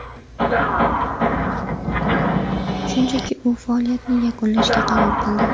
Shunchaki u faoliyatini yakunlashga qaror qildi.